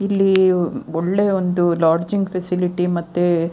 ಇಲ್ಲಿ ಒಳ್ಳೆ ಒಂದು ಲೊಡ್ಜಿಂಗ್ ಫೆಸಿಲಿಟಿ ಮತ್ತೆ --